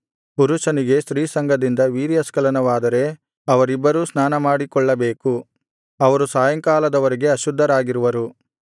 ಪುರುಷನಿಗೆ ಸ್ತ್ರೀಸಂಗದಿಂದ ವೀರ್ಯಸ್ಖಲನವಾದರೆ ಅವರಿಬ್ಬರೂ ಸ್ನಾನಮಾಡಿಕೊಳ್ಳಬೇಕು ಅವರು ಸಾಯಂಕಾಲದ ವರೆಗೆ ಅಶುದ್ಧರಾಗಿರುವರು